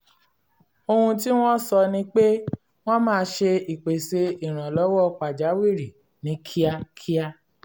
ohun tí wọ́n sọ ni pé wọ́n máa ṣe ìpèsè ìrànlọ́wọ́ pàjáwìrì ní kíákíá